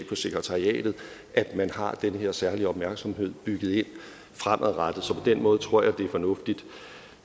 på sekretariatet at man har den her særlige opmærksomhed bygget ind fremadrettet så på den måde tror jeg det er fornuftigt